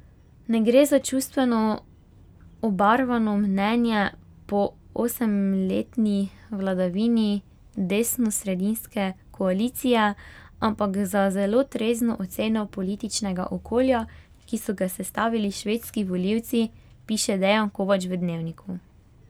Ne gre za čustveno obarvano mnenje po osemletni vladavini desnosredinske koalicije, ampak za zelo trezno oceno političnega okolja, ki so ga sestavili švedski volivci, piše Dejan Kovač v Dnevniku.